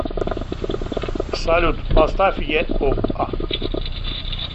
салют поставь е о а